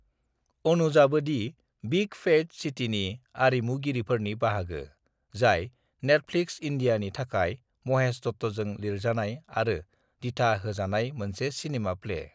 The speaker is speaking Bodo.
"अनुजआबो दि बिग फैट सिटीनि आरिमुगिरिफोरनि बाहागो, जाय नेटफ्लिक्स इन्दियानि थाखाय महेश दत्तजों लिरजानाय आरो दिथा होजानाय मोनसे सिनेमा-प्ले।"